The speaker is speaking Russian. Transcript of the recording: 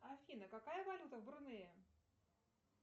афина какая валюта в брунее